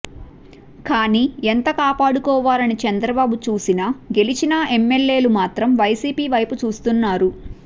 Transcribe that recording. కానీ ఎంత కాపాడుకోవాలని చంద్రబాబు చూసిన గెలిచినా ఎమ్మెల్యే లు మాత్రం వైసీపీ వైపు చూస్తున్నారు